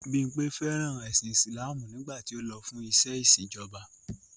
Bímpẹ̀ fẹ́ràn ẹ̀sìn Islamú nígbàtí ó lọ fún ìṣẹ̀ ìṣín ìjọba.